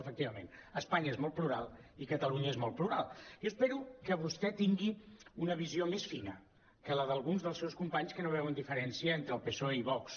efecti·vament espanya és molt plural i catalunya és molt plural i espero que vostè tingui una visió més fina que la d’alguns dels seus companys que no veuen diferència entre el psoe i vox